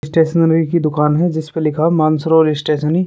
Stationery की दुकान है जिस पर लिखा है मानसरोवर स्टेस्नरी ।